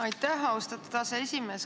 Aitäh, austatud aseesimees!